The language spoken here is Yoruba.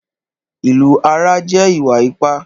Ìlù ara jẹ́ ìwà ipá